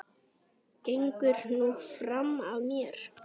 Gengur nú fram af mér!